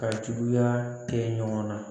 Ka juguya kɛ ɲɔgɔn na